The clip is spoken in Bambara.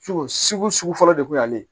Sugu sugu de kun y'ale ye